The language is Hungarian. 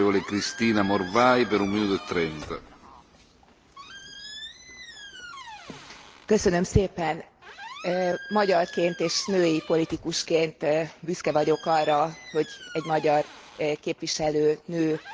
Magyarként és női politikusként büszke vagyok arra, hogy egy magyar képviselőnő, Gál Kinga személyében, alkotta meg igen komoly munkával az emberi jogok jobb érvényesüléséről szóló